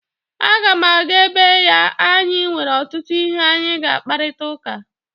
Aga m aga ebe ya anyị nwere ọtụtụ ihe anyị ga-akparịta ụka